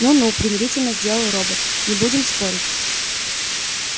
ну-ну примирительно сделал робот не будем спорить